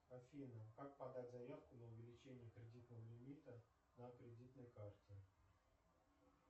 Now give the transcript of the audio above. афина как подать заявку на увеличение кредитного лимита на кредитной карте